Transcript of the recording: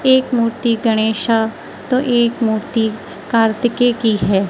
एक मूर्ति गणेशा तो एक मूर्ति कार्तिकेय की है।